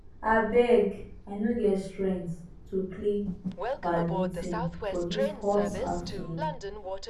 abeg i no get strength to play badminton for dis hot afternoon